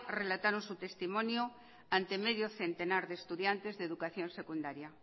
relataron su testimonio ante medio centenar de estudiantes de educación secundaria